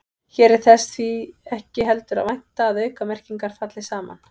Hér er þess því ekki heldur að vænta að aukamerkingar falli saman.